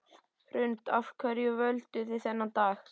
Hrund: Af hverju völduð þið þennan dag?